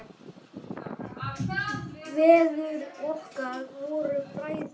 Feður okkar voru bræður.